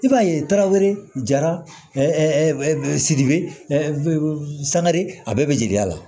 I b'a ye daraweleya sidibe sangare a bɛɛ bɛ jeliya la